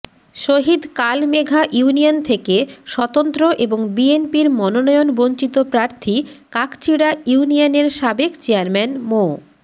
শহিদ কালমেঘা ইউনিয়ন থেকে স্বতন্ত্র এবং বিএনপির মনোনয়ন বঞ্চিত প্রার্থী কাকচিড়া ইউনিয়নের সাবেক চেয়ারম্যান মো